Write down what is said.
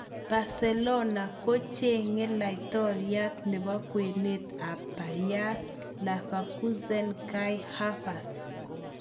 Barcelona kochenge laitoriat nebo kwenet ab Bayer Leverkusen Kai Havertz.